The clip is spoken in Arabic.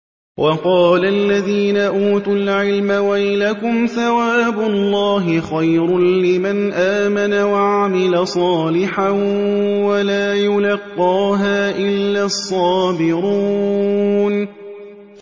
وَقَالَ الَّذِينَ أُوتُوا الْعِلْمَ وَيْلَكُمْ ثَوَابُ اللَّهِ خَيْرٌ لِّمَنْ آمَنَ وَعَمِلَ صَالِحًا وَلَا يُلَقَّاهَا إِلَّا الصَّابِرُونَ